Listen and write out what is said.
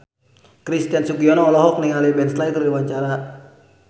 Christian Sugiono olohok ningali Ben Stiller keur diwawancara